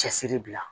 Cɛsiri bila